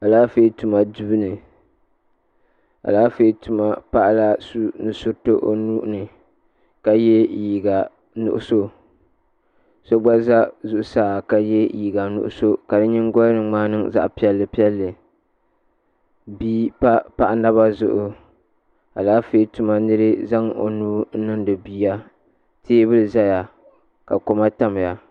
Alaafee tuma duuni alaafee tuma paɣala au nusuriti o nuuni ka ye liiga nuɣuso so gba za zuɣusaa ka ye liiga liiga nuɣuso o nyingoli ni maa niŋ zaɣa piɛlli piɛlli paɣa naba zuɣu alaafee tuma nira zaŋ o nuu . niŋdi bia teebuli zaya ka koma tamya.